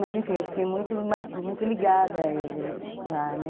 Mas, enfim, eu fiquei muito ligada a ele lá, né?